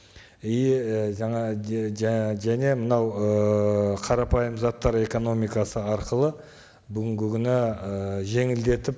и і жаңа және мынау ыыы қарапайым заттар экономикасы арқылы бүгінгі күні ы жеңілдетіп